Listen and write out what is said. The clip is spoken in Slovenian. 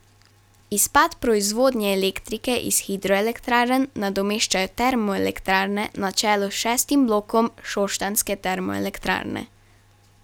Izpad proizvodnje elektrike iz hidroelektrarn nadomeščajo termoelektrarne na čelu s šestim blokom šoštanjske termoelektrarne.